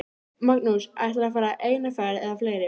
Magnús: Ætlarðu að fara eina ferð eða fleiri?